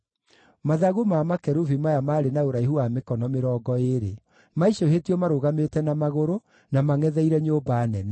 Mathagu ma makerubi maya maarĩ na ũraihu wa mĩkono mĩrongo ĩĩrĩ. Maicũhĩtio marũgamĩte na magũrũ, na mangʼetheire nyũmba nene.